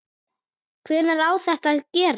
Hvenær á þetta að gerast?